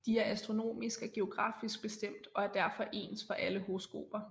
De er astronomisk og geografisk bestemt og er derfor ens for alle horoskoper